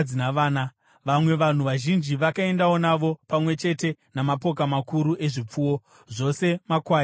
Vamwe vanhu vazhinji vakaendawo navo, pamwe chete namapoka makuru ezvipfuwo, zvose makwai nemombe.